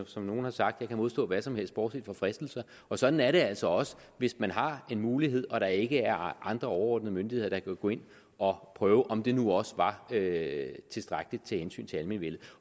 som nogle har sagt jeg kan modstå hvad som helst bortset fra fristelser og sådan er det altså også hvis man har en mulighed og der ikke er andre overordnede myndigheder der kan gå ind og prøve om der nu også er taget tilstrækkeligt hensyn til almenvellet